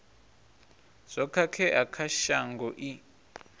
zwo khakhea kha shango i